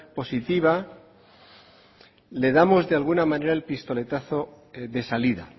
positiva le damos de alguna manera el pistoletazo de salida